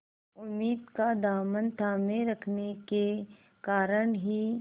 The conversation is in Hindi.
उम्मीद का दामन थामे रखने के कारण ही